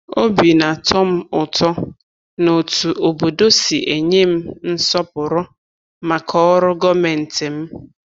Obi na-atọ m ụtọ n’otú obodo si enye m nsọpụrụ maka ọrụ gọọmentị m.